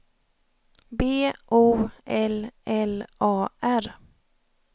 B O L L A R